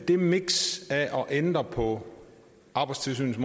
det miks af at ændre på arbejdstilsynets